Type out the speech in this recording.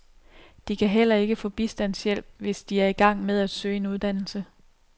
De kan heller ikke få bistandshjælp, hvis de er i gang med at søge en uddannelse.